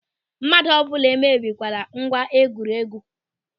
Mmadụ ọ bụla emebikwala ngwa egwuregwu!